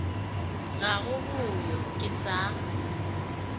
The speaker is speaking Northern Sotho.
ga go boyo ke sa